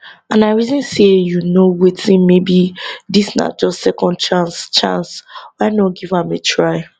and i reason say you know wetin maybe dis na just second chance chance why not give am a try